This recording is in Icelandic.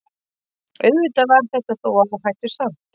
Auðvitað var þetta þó áhættusamt.